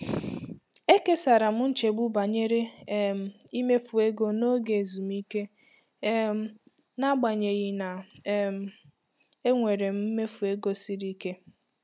Ekesara m nchegbu banyere um imefu ego n'oge ezumike um n'agbanyeghị na um enwere m mmefu ego siri ike.